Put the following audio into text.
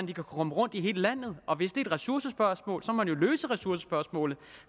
de kan komme rundt i hele landet og hvis det er et ressourcespørgsmål må man jo løse ressourcespørgsmålet